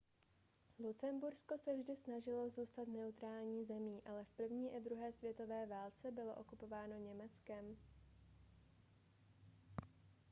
lucembursko se vždy snažilo zůstat neutrální zemí ale v první i druhé světové válce bylo okupováno německem